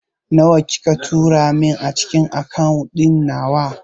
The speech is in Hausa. Nawa kika tura min a cikin akawun ɗin nawa?